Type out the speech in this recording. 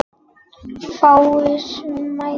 Fáir mættu.